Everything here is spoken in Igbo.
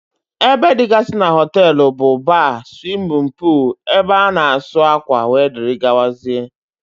Ébé dịgasị n'hotelu bụ: Baar, swimin poolu, ebe ana asụ akwa wdg.